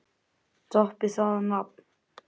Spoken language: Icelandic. Toppið það nafn!